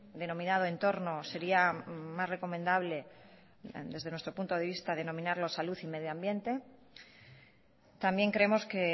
denominado entorno sería más recomendable desde nuestro punto de vista denominarlo salud y medio ambiente también creemos que